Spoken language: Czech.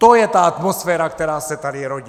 To je ta atmosféra, která se tady rodí.